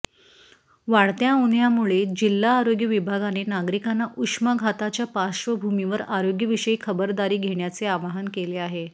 वाढत्या उन्हाळय़ामुळे जिल्हा आरोग्य विभागाने नागरिकांना उष्माघाताच्या पार्श्वभूमीवर आरोग्यविषयी खबरदारी घेण्याचे आवाहन केले आहे